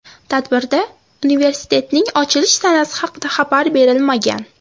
Tadbirda universitetning ochilish sanasi haqida xabar berilmagan.